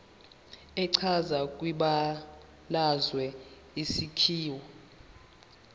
echazwe kwibalazwe isakhiwo